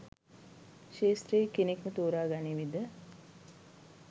ක්ෂේත්‍රයේ කෙනෙක්ම තෝරා ගනිවීද?